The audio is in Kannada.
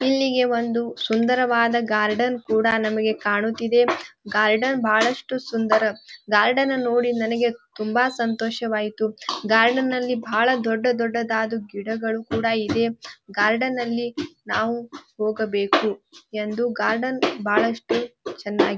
ಇಲ್ಲಿಗೆ ಒಂದು ಸುಂದರವಾದ ಗಾರ್ಡನ್ ಕೂಡ ನಮಗೆ ಕಾಣುತಿದೆ ಗಾರ್ಡನ್ ಬಹಳಷ್ಟು ಸುಂದರ ಗಾರ್ಡನ್ ನೋಡಿ ನನಗೆ ತುಂಬ ಸಂತೋಷವಾಯಿತು ಗಾರ್ಡ್ನಲ್ಲಿ ಬಹಳ ದೊಡ್ಡ ದೊಡ್ಡ ಗಿಡಗಳು ಕೂಡ ಇದೆ ಗಾರ್ಡ್ನಲ್ಲಿ ನಾವು ಹೋಗಬೇಕು ಎಂದು ಗಾರ್ಡನ್ ಬಹಳಷ್ಟು ಚೆನ್ನಾಗಿ--